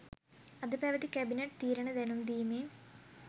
අද පැවති කැබිනට් තීරණ දැනුම්දීමේ